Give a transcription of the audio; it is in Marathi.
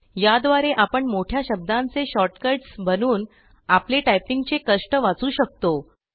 याद्वारे आपण मोठ्या शब्दांचे शॉर्टकट्स बनवून आपले टायपिंगचे कष्ट वाचवू शकतो